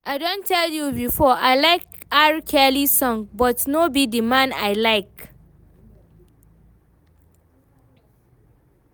I don tell you before, I like R-Kelly songs but no be the man I like